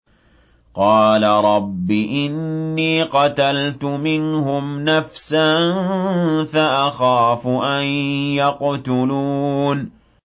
قَالَ رَبِّ إِنِّي قَتَلْتُ مِنْهُمْ نَفْسًا فَأَخَافُ أَن يَقْتُلُونِ